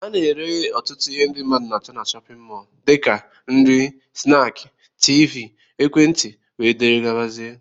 Ana ere ọtụtụ ihe mmadụ na-acho n'shóppin mol dika nri, snaaki, tiivii, ekwentị wdg.